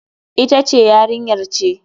Ita ce Yarinyar ce.